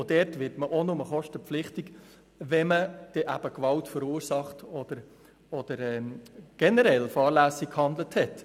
Dann wird man auch nur zur Kostenübernahme verpflichtet, wenn man Gewalt verursacht oder generell fahrlässig gehandelt hat.